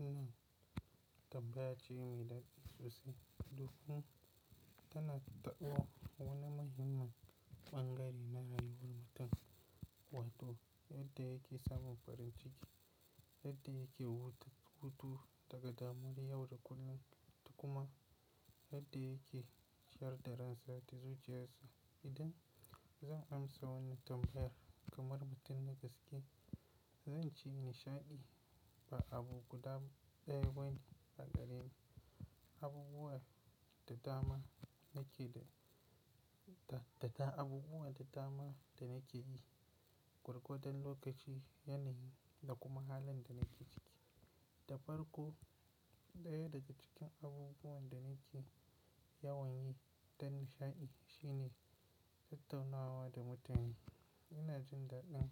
Wannan tambaya ce mai daɗi sosai domin tana taɓa wani muhimmin bangare na rayuwar mutum, wato yadda yake samun farin ciki, yadda yake hutu daga damuwar yau da kullum da kuma yadda yake chiyar da ransa da zuciyarsu. Idan zan amsa wannan tambayar kamar mutum da gaske, zan ci nishaɗi ba abu guda ɗaya bane a gareni. Abubuwa da dama da nake yi, gwargwadon lokaci yanayi da kuma halin da nake ciki. Da farko, ɗaya daga cikin abubuwan da nake yawanye ta nishaɗi shine tattaunawa da mutane. Ina jin daɗin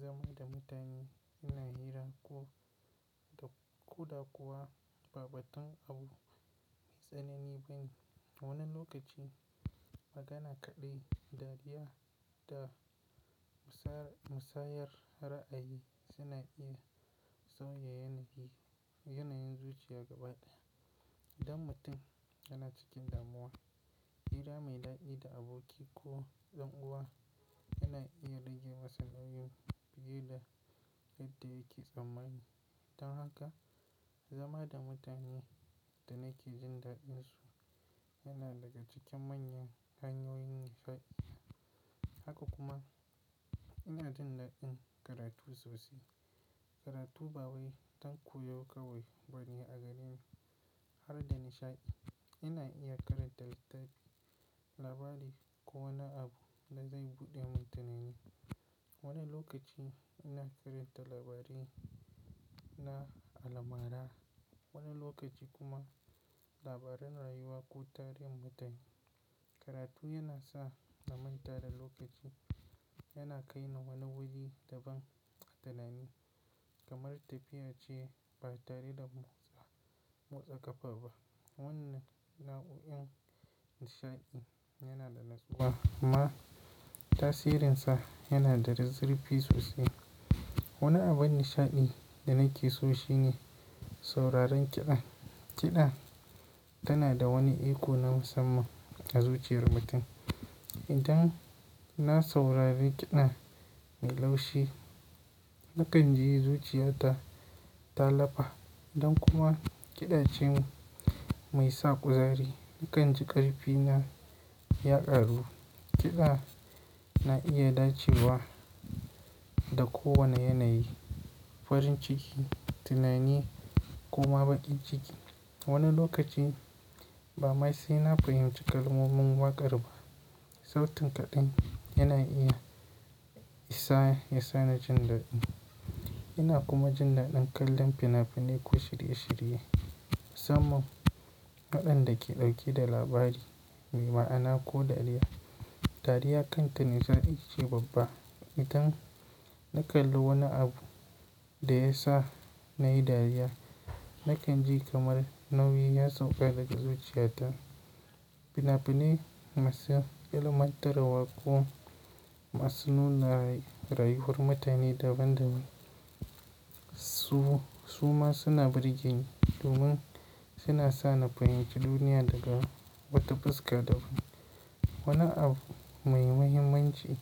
zama da mutane ina hira da ƙoh da kuwa ba batun abu mai tsanani bane. Wani lokaci magana kaɗai, dariya da musayar ra'ayi suna iya sauya yanayin zuciya gaba ɗaya. Idan mutum yana cikin damuwa, hira mai daɗi da aboki ko ɗan uwa yana iya rage masa nauyin fiye da yadda yake tsammani. Dan haka, zama da mutanen da nake jin daɗin su yana daga cikin manyan hanyoyin nishaɗi. Haka kuma ina jin daɗin karatu sosai. Karatu ba wai don koyo kawai bane a gareni har da nishaɗi. Ina iya karanta littafi, labari ko wani abu da zai buɗe min tunani. Wani lokaci ina karanta labarai na almara, wani lokaci kuma labaran rayuwa ko tarihin mutun. Karatu yana sa na manta da lokaci, yana kai ni wani wuri daban tunani kamar tafiya ce ba tare da motsa ƙafa ba. Wannan nau'in nishaɗi yana da natsuwa amma tasirinsa yana da zurfi sosai. Wani abin nishaɗi da nake so shine sauraron kiɗa. Kiɗa tana da wani iko na musamman a zuciyar mutum. Idan na saurari kiɗa mai laushi, na kan ji zuciyata ta lafa idan kuma kiɗa ce mai sa ƙuzari, na kan ji ƙarfi na ya ƙaru. Kiɗa na iya dacewa da kowane yanayi, farin ciki, tunani kuma bakin ciki. Wani lokaci ba mai sai na fahimci kalmomin waƙar ba, sautin kaɗai yana iya ya sani jin daɗi. Ina kuma jin daɗin kallon fina-finai ko shirye-shirye. Samun waɗanda ke ɗauke da labari mai ma'ana ko dariya. Dariya kanta ne zan ice babba. Idan na kalli wani abu da ya sa na yi dariya, na kan ji kamar nauyi ya sauka daga zuciyata. Fina-finai masu ilmantarwa ko masu nuna rayuwar mutane daban daban. Su ma suna burge ni domin suna sa na fahimci duniya daga wata fuska daban. Wani abu mai muhimmanci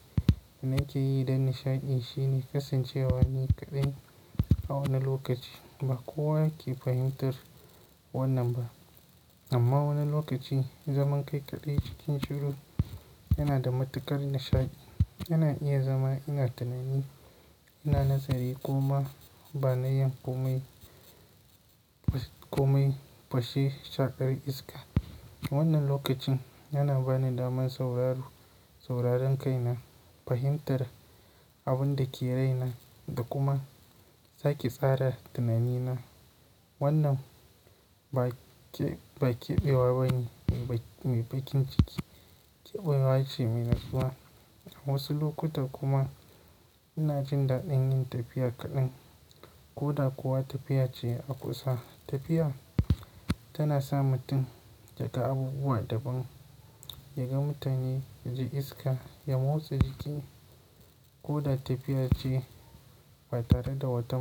da nake yi don nishaɗi shine kasancewa ni kaɗai a wani lokaci. Ba kowa yake fahimtar wannan ba amma wani lokaci zaman kai kaɗai cikin shiru yana da matuƙar nishaɗi. Ina iya zama ina tunani, ina nazari kuma bana yin komai fashe shaƙar iska. Wannan lokacin yana bani damar sauraron sauraron kaina, fahimtar abin da ke raina da kuma sake tsara tunanina. Wannan ba keɓewa bane mai baƙin ciki, keɓewa ce mai natsuwa. A wasu lokuta kuma ina jin daɗin yin tafiya kaɗan ko da kuwa tafiya ce a kusa. Tafiya tana sa mutum ya ga abubuwa daban, ya ga mutane, ya ji iska, ya motsa jiki ko da tafiya ce ba tare da wata.